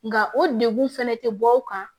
Nka o degun fɛnɛ tɛ bɔ aw kan